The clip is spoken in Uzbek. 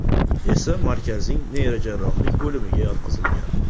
esa markazning neyrojarrohlik bo‘limiga yotqizilgan.